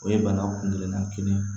O ye banaw kun kelen na kelen